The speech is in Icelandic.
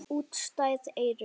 Útstæð eyru.